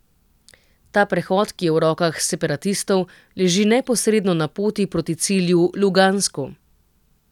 Ta prehod, ki je v rokah separatistov, leži neposredno na poti proti cilju, Lugansku.